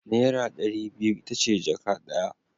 Naira ɗari biyu ita ce jaka ɗaya.